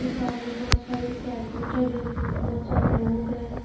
मेरे सामने बहोत सारे कैंडल जले हुए है बहोत सारे लोग हैं।